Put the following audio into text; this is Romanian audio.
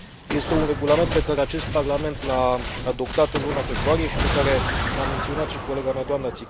Este un regulament pe care acest Parlament l a adoptat în luna februarie și pe care l a menționat și colega mea, dna Țicău.